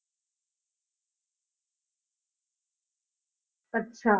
ਅੱਛਾ